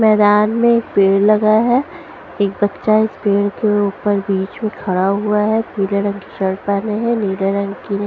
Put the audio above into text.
मैदान में एक पेड़ लगा हैं एक बच्चा इस पेड़ के ऊपर बीच में खड़ा हुआ हैं पीले रंग की शर्ट पहने हैं नीले रंग की --